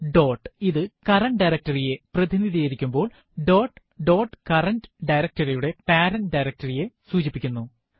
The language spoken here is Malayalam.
ഡോട്ട് ഇത് കറന്റ് ഡയറക്ടറി യെ പ്രതിനിധീകരിക്കുമ്പോൾdot ഡോട്ട് കറന്റ് directory യുടെ പേരന്റ് directory യെ സൂചിപ്പിക്കുന്നു